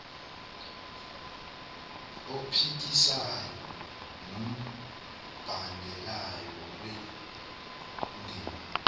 ophikisayo nombandela wendima